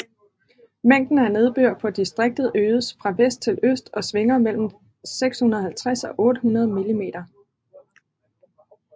Mængden af nedbør på distriktet øges fra vest til øst og svinger mellem 650 og 800 mm